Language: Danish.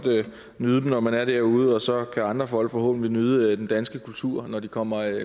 nyde dem når man er derude og så kan andre folk forhåbentlig nyde den danske kultur når de kommer